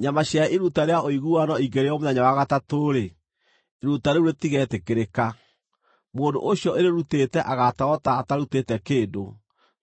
Nyama cia iruta rĩa ũiguano ingĩrĩĩo mũthenya wa gatatũ-rĩ, iruta rĩu rĩtigetĩkĩrĩka. Mũndũ ũcio ũrĩrutĩte agaatarwo ta atarutĩte kĩndũ,